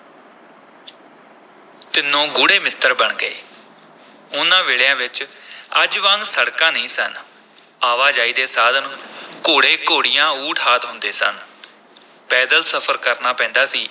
ਤਿੰਨੋਂ ਗੂੜ੍ਹੇ ਮਿੱਤਰ ਬਣ ਗਏ, ਉਨ੍ਹਾਂ ਵੇਲਿਆਂ ਵਿਚ ਅੱਜ ਵਾਂਗ ਸੜਕਾਂ ਨਹੀਂ ਸਨ, ਆਵਾਜਾਈ ਦੇ ਸਾਧਨ ਘੋੜੇ-ਘੋੜੀਆਂ, ਊਠ ਆਦਿ ਹੁੰਦੇ ਸਨ ਪੈਦਲ ਸਫ਼ਰ ਕਰਨਾ ਪੈਂਦਾ ਸੀ।